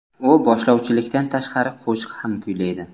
U boshlovchilikdan tashqari qo‘shiq ham kuylaydi.